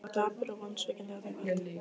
Ég var dapur og vonsvikinn þetta kvöld.